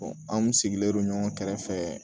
an kun sigilendo ɲɔgɔn kɛrɛfɛ